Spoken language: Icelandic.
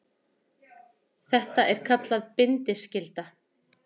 Þetta er kallað bindiskylda.